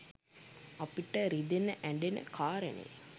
අපිට රිදෙන ඇ‍ඬෙන කාරණය